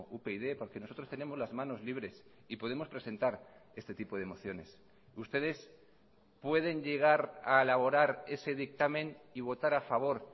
upyd porque nosotros tenemos las manos libres y podemos presentar este tipo de mociones ustedes pueden llegar a elaborar ese dictamen y votar a favor